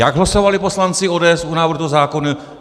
Jak hlasovali poslanci ODS u návrhu toho zákona?